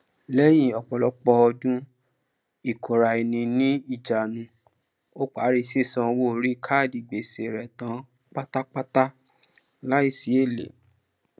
lẹyìn opolopo odu ìkóraeniní ìjánu ó parí sísan owó oríi káádì gbèsè rẹ tan pátápátá láìsí ele